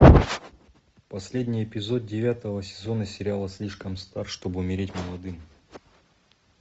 последний эпизод девятого сезона сериала слишком стар чтобы умереть молодым